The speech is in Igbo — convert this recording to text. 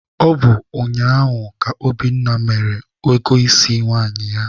Ọ bụ ụnyaahụ ka Obinna mere ego isi nwaanyị ya.